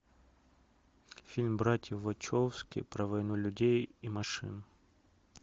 фильм братьев вачовски про войну людей и машин